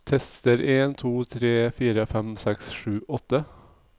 Tester en to tre fire fem seks sju åtte